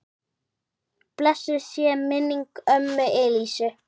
Blessuð sé minning ömmu Elísu.